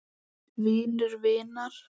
Vinur vinar?